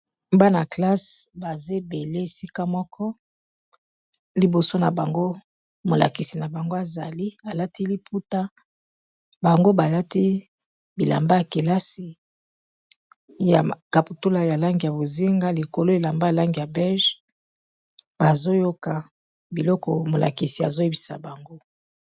Bana-classe baza ebele esika moko liboso na bango molakisi na bango azali alati liputa bango balati bilamba ya kelasi ya kaputula ya lang ya bozinga likolo elamba a langi ya beige bazoyoka biloko molakisi azoyebisa bango.